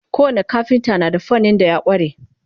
ko wani kafinta na da fannin da ya kware